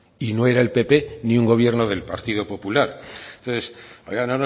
y no era el pp ni un gobierno del partido popular entonces oiga